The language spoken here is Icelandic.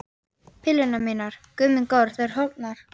Pillurnar mínar, Guð minn góður, þær eru horfnar!